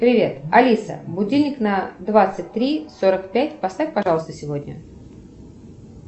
привет алиса будильник на двадцать три сорок пять поставь пожалуйста сегодня